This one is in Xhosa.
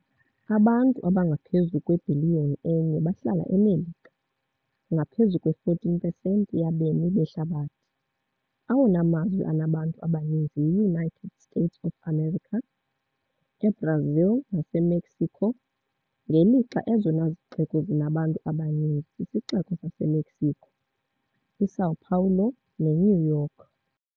Abantu abangaphezu kwebhiliyoni enye bahlala eMelika, ngaphezu kwe-14 pesenti yabemi behlabathi - awona mazwe anabantu abaninzi yi-United States of America, eBrazil naseMexico, ngelixa ezona zixeko zinabantu abaninzi sisiXeko saseMexico, iSão Paulo neNew York.